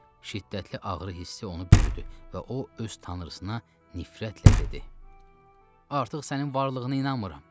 Şiddətli ağrı hissi onu bürüdü və o öz Tanrısına nifrətlə dedi: "Artıq sənin varlığına inanmıram.